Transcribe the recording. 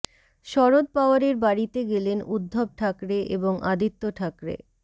শরদ পাওয়ারের বাড়িতে গেলেন উদ্ধব ঠাকরে এবং আদিত্য ঠাকরে